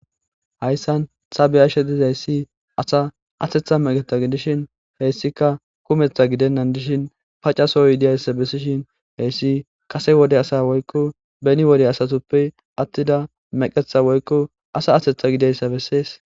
hayssan xabeyashe dizayssi asa atetha meqetha gidishin heyssika kumetha gidennan dishin pacasoyidiyayssa bessishin heyssi kase wode asa woykko beni wode asatuppe attida meqetha woykko asa atetha gideyssa bessees